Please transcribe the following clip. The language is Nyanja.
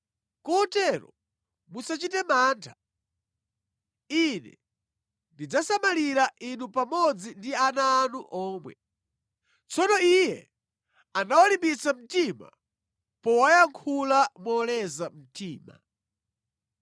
Kotero, musachite mantha. Ine ndidzasamalira inu pamodzi ndi ana anu omwe.” Tsono iye anawalimbitsa mtima powayankhula moleza mtima.